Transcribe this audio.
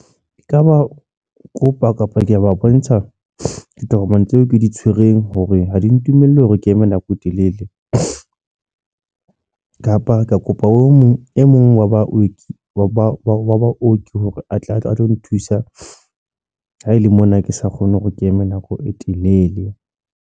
E kaba o kopa kapa ke ba bontsha ditokomane tseo ke di tshwereng hore ha di ntumelle hore ke eme nako e telele. Kapa ke kopa o mong e mong wa baoki wa ba wa baoki, hore atle a tlo nthusa. Ha ele mona ke sa kgone hore ke eme nako e telele.